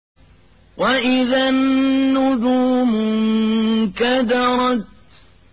وَإِذَا النُّجُومُ انكَدَرَتْ